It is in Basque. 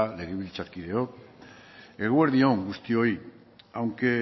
legebiltzarkideok eguerdi on guztioi aunque